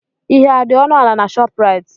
Ihe adị ọnụ ala na Shọpraịt?